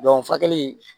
furakɛli